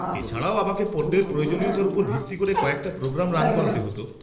-এছাড়াও আমাকে পণ্যের প্রয়োজনীয়তার ওপর ভিত্তি করে কয়েকটা প্রোগ্রাম রান করাতে হত।